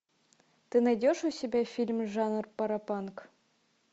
ты найдешь у себя фильм жанр паропанк